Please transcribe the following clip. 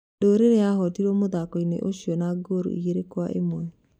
Ndũruri yahootirwo mũthako-inĩ ũcio na ngooru igĩrĩ kwa ĩmwe.